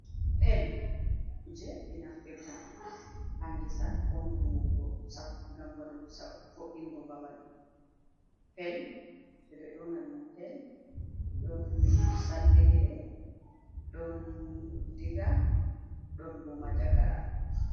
Pel kuje be naftirta ha gesa ko vuwugo sap gam wadu fo’’ingo babal, pel de do yona dum pel don saddere don diga don bo manjagara.